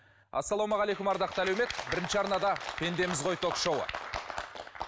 ассалаумағалейкум ардақты әлеумет бірінші арнада пендеміз ғой ток шоуы